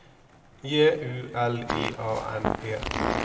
J U L I A N E